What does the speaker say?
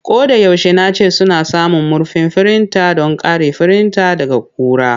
Ko da yaushe nace suna samun murfin firinta don kare firinta daga ƙura.